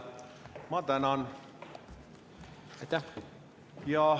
Ma tänan!